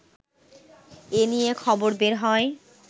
এ নিয়ে খবর বের হয়